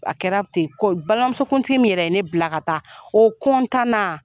A kɛra ten ko balimamuso kuntigi min yɛrɛ ye ne bila ka taa o na.